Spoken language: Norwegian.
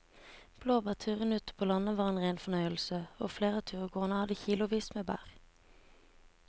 Blåbærturen ute på landet var en rein fornøyelse og flere av turgåerene hadde kilosvis med bær.